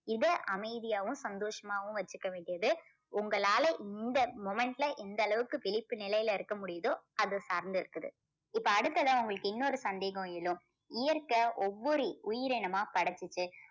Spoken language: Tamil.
இவ்வளோ அமைதியாவும் சந்தோஷமாவும் வச்சுக்க வேண்டியது உங்களால இந்த moment ல இந்த அளவுக்கு விழிப்பு நிலையில இருக்க முடியுதோ அதை சார்ந்து இருக்குது. இப்போ அடுத்ததா உங்களுக்கு இன்னொரு சந்தேகம் எழும். இயற்கை ஒவ்வொரு உயிரினமா படைச்சுச்சு.